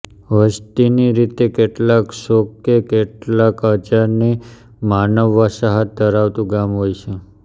વસતીની રીતે કેટલાંક સો કે કેટલાંક હજારની માનવ વસાહત ધરાવતું ગામ હોય છે